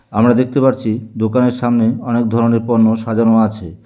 আমরা দেখতে পারছি দোকানের সামনে অনেক ধরনের পণ্য সাজানো আছে।